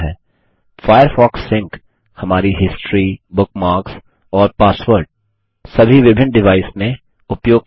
Firefox Sync Firefox Sync हमारी history bookmarks और password सभी विभिन्न डिवाइस में उपयोग करता है